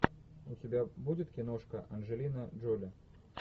у тебя будет киношка анджелина джоли